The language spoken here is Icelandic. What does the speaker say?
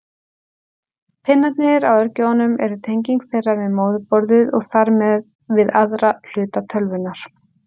Pinnarnir á örgjörvum eru tenging þeirra við móðurborðið og þar með við aðra hluta tölvunnar.